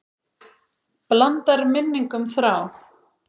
Blandar minningum þrá.